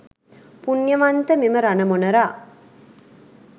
පුණ්‍යවන්ත මෙම රණ මොණරා,